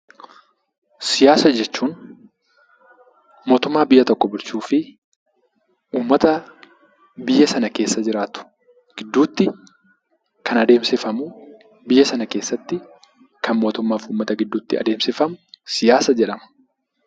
Siyaasa jechuun mootummaa biyya tokko bulchuu fi uummata biyya sana keessa jiraatu gidduutti kan adeemsifamu biyya sana keessatti kan mootummaa fi uummata gidduutti taasifamu siyaasa jedhama.